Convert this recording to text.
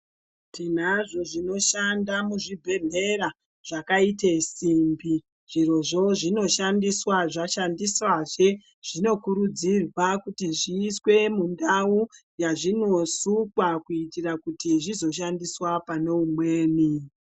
Tinazvo zvinoshanda muzvibhedhlera zvakaite simbi. Zvirozvo zvinoshandiswa zvashandiswazve zvinokurudzirwa kuti zviiswe mundau yazvinosukwa. Kuitira kuti zvizoshandiswa pane umweni.